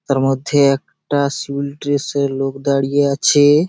তার মধ্যে এক-কটা সিভিল ড্রেস -এ লোক দাঁড়িয়ে আছে-এ।